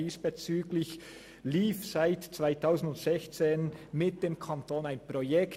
Diesbezüglich lief seit dem Jahr 2016 mit dem Kanton ein Projekt.